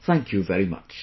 Thank you very much